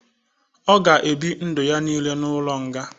Ọ ga ebi ndu ya nille n'ulo nga